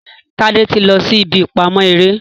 Tade tí lọ sí ìbí ìpamọ eré